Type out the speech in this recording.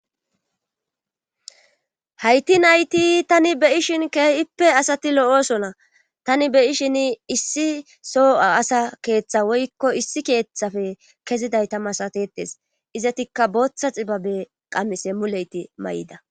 hayti nayti tani be ishin keehippe asati lo7osona tani be ishin issi so asa keeththa woykko issi keeththafe kezidayta masatetes izatikka booththa xibabe qammise muleyti may7ida